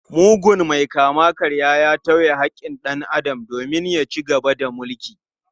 Mugun mai kama-karyan ya tauye haƙƙin dan Adam domin ya ci gaba da mulki.